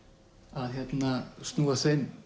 að snúa